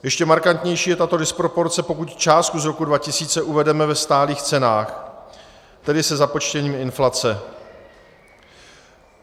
Ještě markantnější je tato disproporce, pokud částku z roku 2000 uvedeme ve stálých cenách, tedy se započtením inflace.